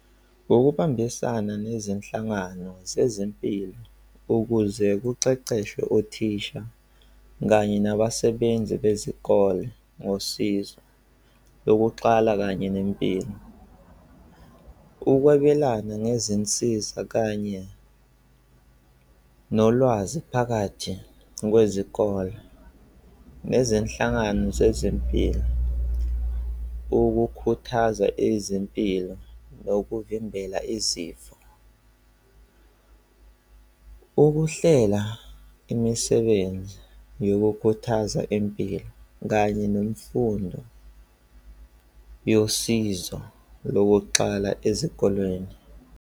Ngokubambisana nezinhlangano zezempilo ukuze kuqeqeshwe othisha kanye nabasebenzi bezikole, ngosizo yokuqala kanye nempilo. Ukwabelana ngezinsiza kanye nolwazi phakathi kwezikole nezinhlangano zezempilo. Ukukhuthaza izimpilo ngokuvimbela izifo. Ukuhlela imisebenzi yokukhuthaza impilo kanye nemfundo yosizo lokuqala ezikolweni.